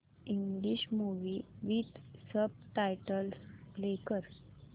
English movie with subtitles play कर